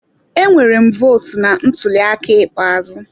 Emere m vootu na ntuli aka ikpeazụ.